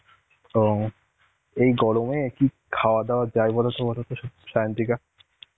ও এই গরমে কি খাওয়া দাওয়া যাই বলতো বলতো সায়ান্তিকা?